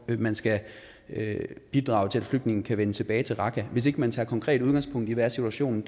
at man skal bidrage til at flygtningene kan vende tilbage til raqqa hvis ikke man tager konkret udgangspunkt i hvad situationen